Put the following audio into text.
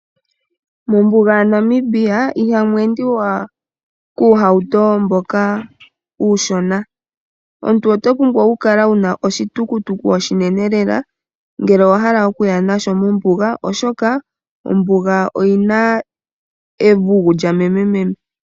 Mombuga yaNamibia ihamu endwa kuuhauto mboka uushona. Omuntu owa pumbwa okukala wu na oshitukutuku oshinene ngele owa hala okuya mombuga, oshoka ombuga oyi na evugu lya memememe.